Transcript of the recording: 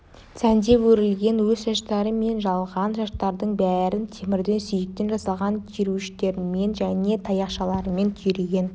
сәндеп өрілген өз шаштары мен жалған шаштардың бәрін темірден сүйектен жасалған түйреуіштермен және таяқшалармен түйреген